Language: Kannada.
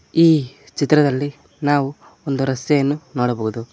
ಈ ಚಿತ್ರದಲ್ಲಿ ನಾವು ಒಂದು ರಸ್ತೆಯನ್ನು ನೋಡಬಹುದು.